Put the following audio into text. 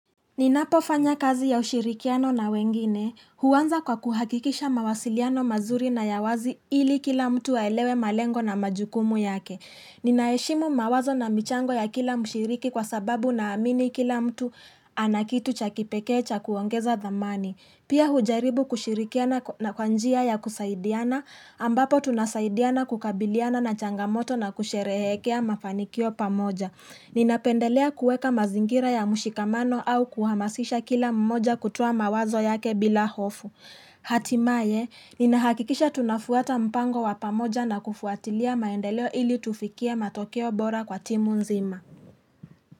Ninapofanya kazi ya ushirikiano na wengine huanza kwa kuhakikisha mawasiliano mazuri na ya wazi ili kila mtu aelewe malengo na majukumu yake. Ninaheshimu mawazo na michango ya kila mshiriki kwa sababu na amini kila mtu anakitu chakipekeecha kuongeza dhamani. Pia hujaribu kushirikiana na kwanjia ya kusaidiana ambapo tunasaidiana kukabiliana na changamoto na kusherehekea mafanikio pamoja. Ninapendelea kueka mazingira ya mushikamano au kuhamasisha kila mmoja kutuwa mawazo yake bila hofu. Hatimaye, ninahakikisha tunafuata mpango wapamoja na kufuatilia maendeleo ili tufikie matokeo bora kwa timu nzima.